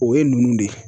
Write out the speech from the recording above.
O ye ninnu de ye